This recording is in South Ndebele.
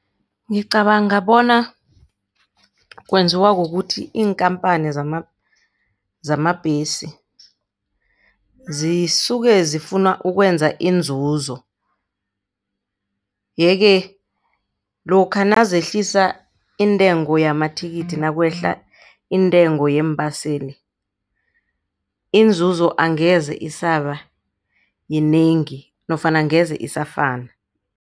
Ngicabanga bona kwenziwa kukuthi iinkampani zamabhesi zisuke zifuna ukwenza inzuzo. Yeke lokha nazehlisa intengo yamathikithi nakwehla iintengo yeembaseli inzuzo angeze isaba yinengi nofana angeze isafana.